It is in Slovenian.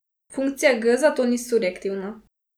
Funkcija g zato ni surjektivna.